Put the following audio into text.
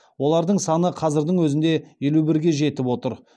олардың саны қазірдің өзінде елу бірге жетіп отыр